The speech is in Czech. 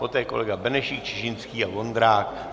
Poté kolega Benešík, Čižinský a Vondrák.